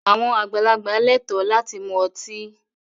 Àwọn àgbàlagbà lẹ́ẹ̀tọ́ láti mu ọtí.